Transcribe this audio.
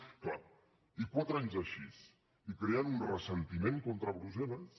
és clar i quatre anys així i creant un ressentiment contra brussel·les